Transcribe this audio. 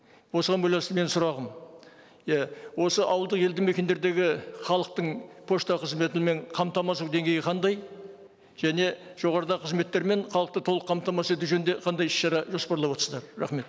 осыған байланысты менің сұрағым иә осы ауылды елді мекендердегі халықтың пошта қызметімен қамтамасыз ету деңгейі қандай және жоғарыда қызметтерімен қалыпты толық қамтамасыз ету жөнінде қандай іс шара жоспарлап отырсыздар рахмет